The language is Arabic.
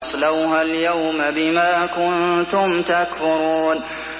اصْلَوْهَا الْيَوْمَ بِمَا كُنتُمْ تَكْفُرُونَ